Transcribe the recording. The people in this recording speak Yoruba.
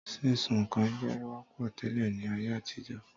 Sísun nǹkan jẹ wọ́pọ̀ tẹ́lẹ̀ ní ayé àtijọ́